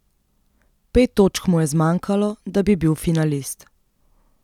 Pet točk mu je zmanjkalo, da bi bil finalist.